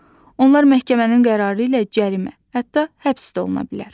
Onlar məhkəmənin qərarı ilə cərimə, hətta həbs də oluna bilər.